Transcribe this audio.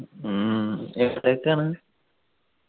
ഹും എവിടത്തേക്കാണ്